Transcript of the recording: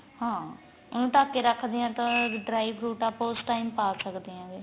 ਹਾਂ ਉਨੂੰ ਢੱਕ ਕੇ ਰੱਖਦੇ ਆ ਤਾਂ dry fruit ਆਪਾਂ ਉਸ time ਪਾ ਸਕਦੇ ਆ